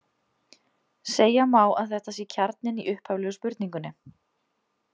Segja má að þetta sé kjarninn í upphaflegu spurningunni!